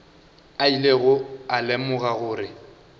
a ilego a lemoga gore